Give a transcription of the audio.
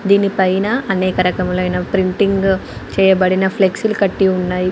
దీని పైన అనేక రకములైన ప్రింటింగ్ చేయబడిన ఫ్లెక్సీలు కట్టి ఉన్నాయి.